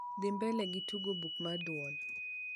dhi mbele gi tugo buk mar duol